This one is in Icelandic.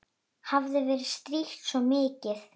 Hafði verið strítt svona mikið.